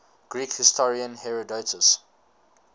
greek historian herodotus